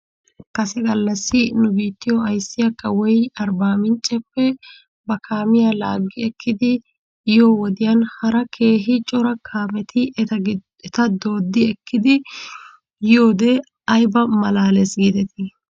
Kase gallassi nu biittiyoo ayssiyaa kawoy arbaamincceppe ba kaamiyaa laaggi ekkidi yiyoo wodiyan hara keehi cora kaameti eta dooddi ekkidi yiidoogee ayba malaales giidetii?